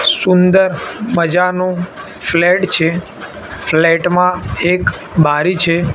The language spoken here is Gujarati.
સુંદર મજાનુ ફ્લેટ છે ફ્લેટ માં એક બારી છે.